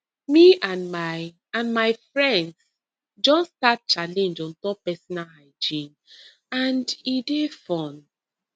me and my and my friends just start challenge on top personal hygiene and e dey fun